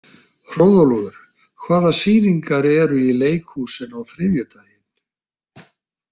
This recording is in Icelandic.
Hróðólfur, hvaða sýningar eru í leikhúsinu á þriðjudaginn?